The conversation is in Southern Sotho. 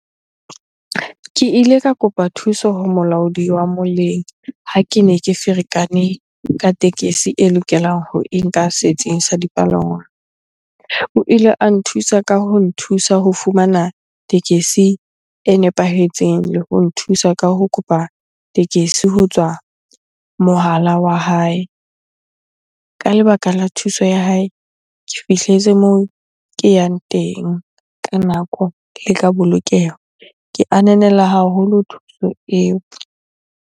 Ke ile ka kopa thuso ho molaodi wa moleng ha kene ke ferekane ka tekesi e lokelang ho e nka setsing sa dipalangwang. O ile a nthusa ka ho nthusa ho fumana tekesi e nepahetseng le ho nthusa ka ho kopa tekesi ho tswa mohala wa hae. Ka lebaka la thuso ya hae, ke fihletse moo ke yang teng ka nako, le ka bolokeho. Ke ananela haholo thuso eo.